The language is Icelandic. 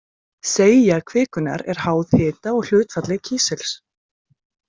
Seigja kvikunnar er háð hita og hlutfalli kísils.